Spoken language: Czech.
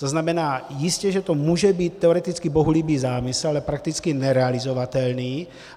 To znamená, jistě že to může být teoreticky bohulibý zámysl, ale prakticky nerealizovatelný.